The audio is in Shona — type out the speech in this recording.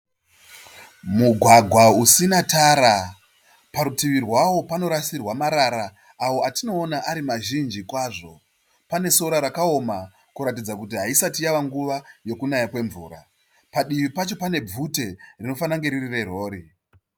Mugwagwa usina tara. Parutivi rwawo panorasirwa marara awo atinoona ari mazhinji kwazvo. Pane sora rakaoma kuratidza kuti haisati yave nguva yokunaya kwemvura. Padivi pacho pane bvute rinofanira kunge riri rerori.